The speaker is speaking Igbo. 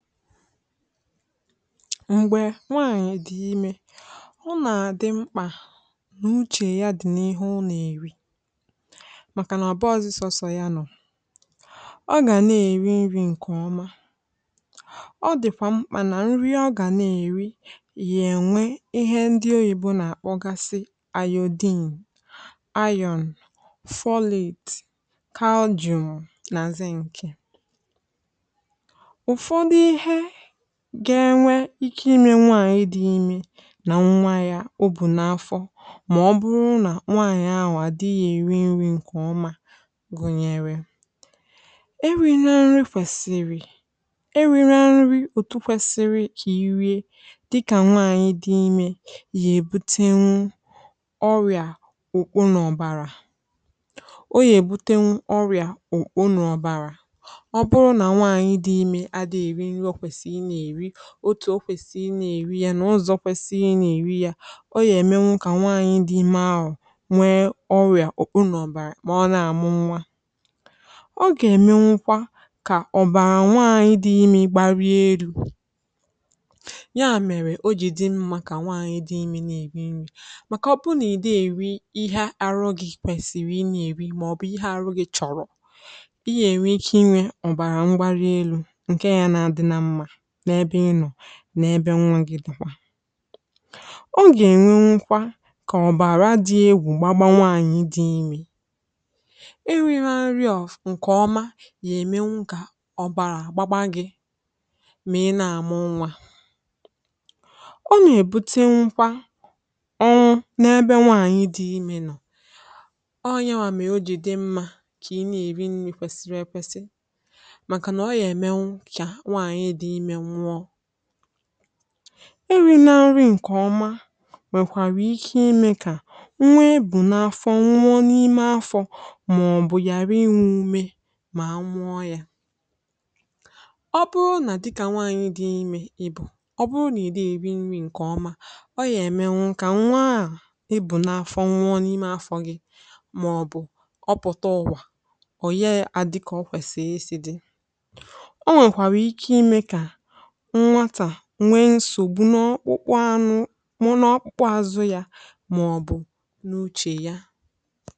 Mgbe nwaanyị dị ime, ọ na-adị mkpa n’uche ya dị n’ihu ụlọ eri, maka na ọ̀ baazi sọsọ ya nọ̀, ọ ga na-eri nri nke ọma. Ọ dịkwa mkpa na nri ọ ga na-eri nwere ihe ndị Oyibo na-akpọ: Iron, Iodine, Folic acid, Calcium, na Zinc nke ga-enwe ike ime ka nwaanyị dị ime na nwa ya wee dị mma. Ma ọ bụrụ na nwaanyị ahụ adịghị eri nri nke ọma gụnyere eriri nri na nri kwesiri, nri ahụ pụrụ ibute ọrịa ọkpọ na ọbara, ọ bụkwa ya pụrụ ibute ọrịa ọkpọ na ọbara. Ọ bụrụ na nwaanyị dị ime adịghị eri nri otu o kwesiri i rie ya, na ụzọ kwesiri i rie ya, ọ nwere ike ime ka nwaanyị dị ime nwee ọrịa ọkpọ nọbara, ma ọ na-amụ nwa, ọ ga-emekwa ka ọbara nwa ya bịa nwayọọ nwayọọ. Nwaanyị dị ime kwesịrị iri nri, maka ọkpọ na ihe ndị ị na-eri na-arụ gị kwesiri inari maọbụ ihe ahụ gị chọrọ. Ị ga-enwe ike inwe ọbara ngbari elu n’ebe nwa gị dị, ọ ga-enwe nkwa ka ọbara dị egwu gbagbawa. Nwaanyị dị ime enweghi ihe nri ọma, ya emekwa ka ọbara agbapụ, ma ị na-amụ nwa, ọ na-ebute nkwa ọ nwụ’ebe nwaanyị dị ime nọ, ọ nyere anyị, n’ezie, ojị dị mma ka ị na-eri nri kwesiri ekwesi. Maka na ọ na-eme ịrị na nri nke ọma, wekwara ike ime ka nwa ị bụ n’afọ dịrị n’ime afọ, ma ọ bụ ya ara inwe ume ma nwụọ ya bụ, ọ bụrụ na dị ka nwaanyị dị ime ị bụ, ọ bụrụ na ị dị eri nri nke ọma, ọ ga-eme ka nwụ a ị bụ n’afọ dịrị n’ime afọ gị ma ọ bụ pụta ụwa. Ọ bụrụ na ọ pụta ụwa, ọ ga-adịkọrịsị; kwesiri ka nwa ahụ nwee nsogbu n’ọkpụkpụ anụ, ma ọ bụ n’ọkpụkpụ azụ ya, maọbụ n’uche ya.